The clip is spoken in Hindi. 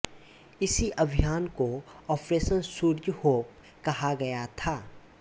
इसी अभियान को ऑपरेशन सूर्य होप कहा गया था